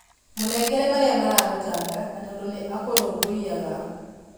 Mũnengere marĩa maragũtanga na tondũ nĩ akũrũmbũiyaga